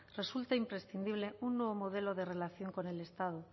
resulta imprescindible un nuevo modelo de relación con el estado